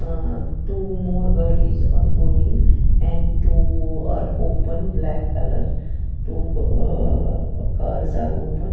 ah two more gadies are going and two are open black two ah cars are open.